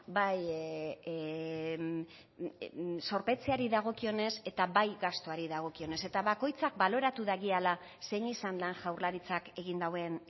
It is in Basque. bai zorpetzeari dagokionez eta bai gastuari dagokionez eta bakoitzak baloratu dagiala zein izan den jaurlaritzak egin duen